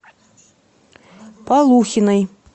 полухиной